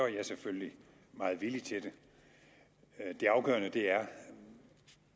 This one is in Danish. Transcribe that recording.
jeg selvfølgelig meget villig til det det afgørende er